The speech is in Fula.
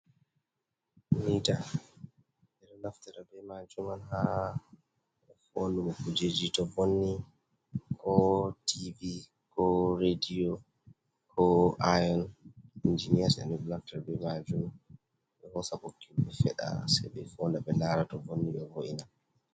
Miita ɓe ɗo naftira bee maajum haa foondugo kuujeeji to vonni koo "tiivi" koo "reediyo" koo "aayom, injiniyas" en naftirta bee maajum. Ɓe hoosa ɓoggi ɓe feɗa sey ɓe foonda ɓe laara to vonni ɓe vo’ina.